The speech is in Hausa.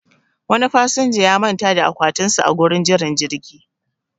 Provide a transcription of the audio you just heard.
Wani fasinja ya manta da akwatin sa a gurin jiran jirgi